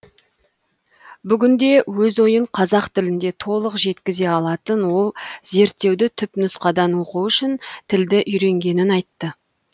бүгінде өз ойын қазақ тілінде толық жеткізе алатын ол зерттеуді түпнұсқадан оқу үшін тілді үйренгенін айтты